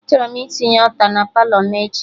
Achọrọ m itinye alta na Palọ m echi